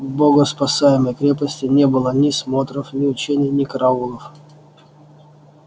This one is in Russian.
в богоспасаемой крепости не было ни смотров ни учений ни караулов